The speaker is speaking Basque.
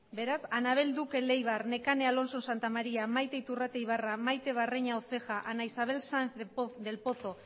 beraz anabel duque leibar nekane alonso santamaría maite iturrate ibarra maite barreña oceja ana isabel sanz del pozo